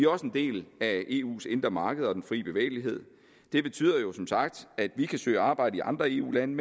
også en del af eus indre marked og den frie bevægelighed det betyder som sagt at vi kan søge arbejde i andre eu lande